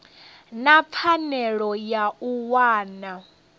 na pfanelo ya u wana